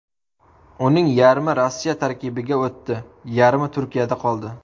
Uning yarmi Rossiya tarkibiga o‘tdi, yarmi Turkiyada qoldi.